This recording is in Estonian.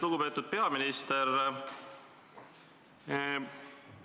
Lugupeetud peaminister!